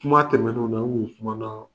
Kuma tɛmɛnenw na n ŋu sumanaa